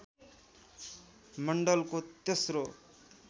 मण्डलको तेस्रो